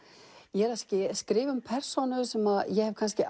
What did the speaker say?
ég er að skrifa um persónu sem ég hef kannski